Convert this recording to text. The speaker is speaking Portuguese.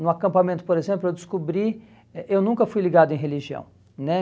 No acampamento, por exemplo, eu descobri eh eu nunca fui ligado em religião né.